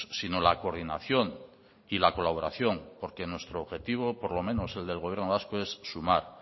sino la coordinación y la colaboración porque nuestro objetivo por lo menos el del gobierno vasco es sumar